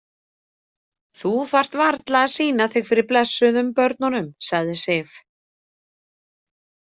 Þú þarft varla að sýna þig fyrir blessuðum börnunum, sagði Sif.